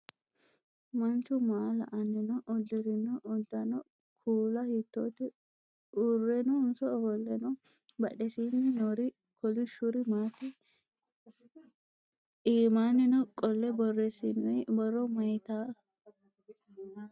Manchu maa la"anni noo? Uddirino uddano kuula hiittote? Uurrenso ofolle no? Badhesiinni noori kolishshuri maati? Iimannino qolle borreessinoyi borro mayiitata?